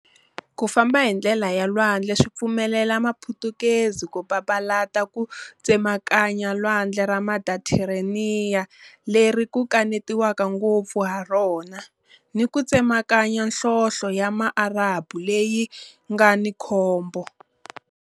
Ku famba hi ndlela ya lwandle swi pfumelele Maputukezi ku papalata ku tsemakanya Lwandle ra Mediteraniya leri ku kanetiwaka ngopfu ha rona ni ku tsemakanya Nhlonhle ya Maarabu leyi nga ni khombo.